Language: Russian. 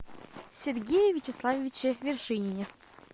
сергее вячеславовиче вершинине